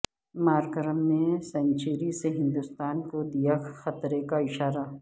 Markram نے century سے ہندوستان کو دیا خطرے کا اشارہ